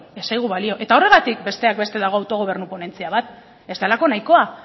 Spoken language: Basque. ez zaigu balio horregatik besteak beste dago autogobernu ponentzia bat ez delako nahikoa